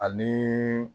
Ani